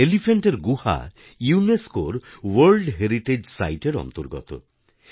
এলিফ্যান্টার গুহা ইউনেস্কোর world heritage সাইটএর অন্তর্গত